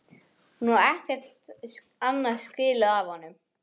Hún á ekkert annað skilið af honum.